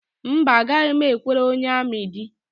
Mba, agaghị m ekwere onye amị di